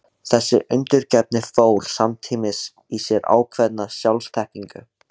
Þessi undirgefni fól samtímis í sér ákveðna sjálfsþekkingu.